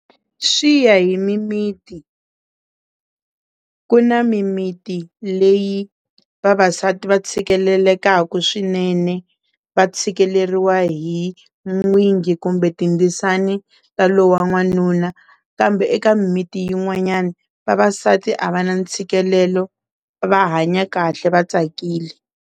Swi ya hi mimiti, ku na mimiti leyi vavasati va tshikelelekaku swinene va tshikeleriwa hi n'wingi kumbe tindzisana ta lowa n'wanuna kambe eka miti yin'wanyani vavasati a va na ntshikelelo va hanya kahle va tsakile.